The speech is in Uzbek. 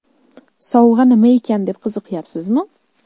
Sovg‘a nima ekan deb qiziqyapsizmi?